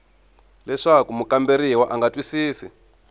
leswaku mukamberiwa a nga twisisi